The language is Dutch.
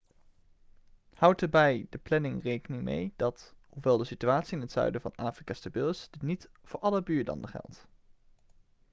houd er bij de planning rekening mee dat hoewel de situatie in het zuiden van afrika stabiel is dit niet voor alle buurlanden geldt